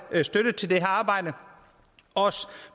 støtte til det her arbejde også